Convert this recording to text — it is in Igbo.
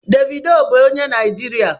Davido bu onye Naijirịa